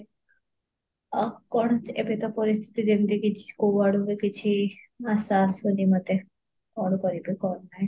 ଆଉ କଣ ଏବେ ତ ପରିସ୍ଥିତି ଯେମିତି କି କୋଉ ଆଡୁବି କିଛି ଆଶା ଆସୁନି ମତେ କଣ କରିବି କଣ ନାହିଁ